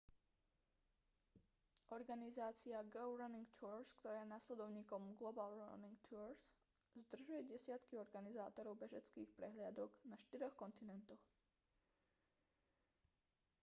organizácia go running tours ktorá je nasledovníkom global running tours združuje desiatky organizátorov bežeckých prehliadok na štyroch kontinentoch